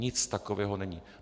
Nic takového není.